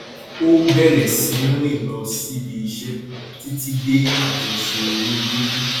ó bẹrẹ sí í rìn lọ síbi iṣẹ títí dé àjọṣe owó gógó